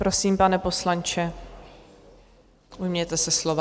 Prosím, pane poslanče, ujměte se slova.